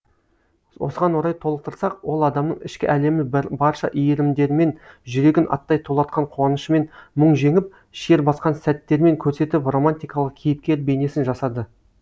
осыған орай толықтырсақ ол адамның ішкі әлемін барша иірімдерімен жүрегін аттай тулатқан қуанышымен мұң жеңіп шер басқан сәттерімен көрсетіп романтикалық кейіпкер бейнесін жасады